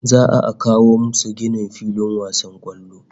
Za'a a kawo musu ginin filin wasan kwallo